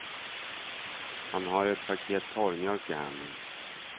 Han har ett paket torrmjölk i handen.